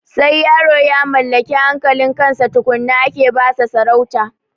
Sai yaro ya mallaki hankalin kansa tukunna ake basa sarauta